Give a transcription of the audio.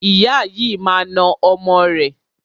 Ìyá yìí máa na ọmọ rẹ̀.